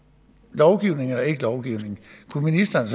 lovgivning eller ikke lovgivning kunne ministeren